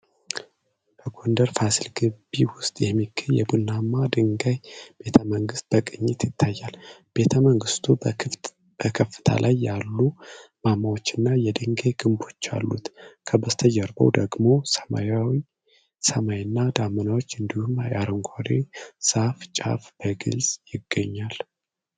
በጎንደር ፋሲል ግቢ ውስጥ የሚገኝ የቡናማ ድንጋይ ቤተመንግሥት በቅኝት ይታያል። ቤተመንግሥቱ በከፍታ ላይ ያሉ ማማዎችና የድንጋይ ግንቦች አሉት። ከበስተጀርባው ደግሞ ሰማያዊ ሰማይ እና ደመናዎች እንዲሁም የአረንጓዴ ዛፍ ጫፍ በግልጽ ይገኛሉ።